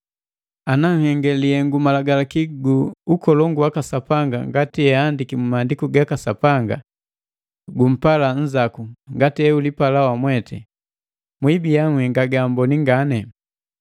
Ana nhenge lihengu Malagalaki gu ukolongu waka Sapanga ngati eahandiki mu Maandiku ga Sapanga: “Gumpala nzaku ngati eulipala wamwete,” mwibiya nhenga gaamboni ngani.